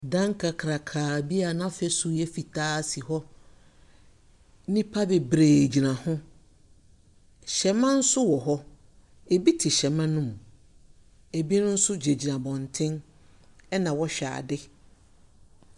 Dan kakrakaa bi a n’afasuo yɛ fitaa si hɔ, nnipa bebree gyina ho. Hyɛmma nso wɔ hɔ, bi te hyɛmma no mu, bi nso gyinagyina abɔnten na wɔrehwɛ ade.